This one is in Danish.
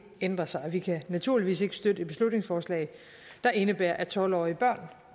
ændret sig og vi kan naturligvis ikke støtte et beslutningsforslag der indebærer at tolv årige børn